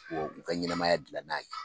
Wa u ka ɲɛnamaya dilan n'a ye